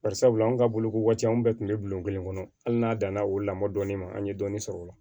Bari sabula anw ka bolokoti an bɛɛ kun bɛ bulon kelen kɔnɔ hali n'a danna o la mɔ dɔɔnin ma an ye dɔɔnin sɔrɔ o la